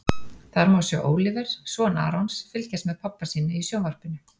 Þar má sjá Óliver, son Arons, fylgjast með pabba sínum í sjónvarpinu.